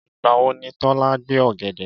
Ìgbà wo ni Tọ́lá gbé ọ̀gẹ̀dẹ̀?